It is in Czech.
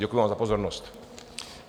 Děkuji vám za pozornost.